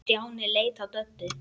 Stjáni leit á Döddu.